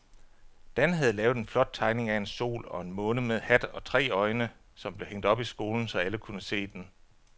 Dan havde lavet en flot tegning af en sol og en måne med hat og tre øjne, som blev hængt op i skolen, så alle kunne se den.